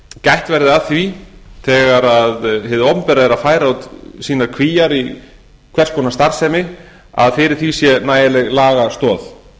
gætt verði að því þegar hið opinbera er að færa út sínar kvíar í hvers konar starfsemi að fyrir því sé nægjanleg lagastoð